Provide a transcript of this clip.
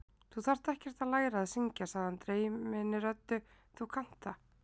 Þú þarft ekkert að læra að syngja, sagði hann dreyminni röddu: Þú kannt það.